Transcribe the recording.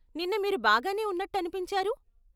నిన్న మీరు బాగానే ఉన్నట్టు అనిపించారు.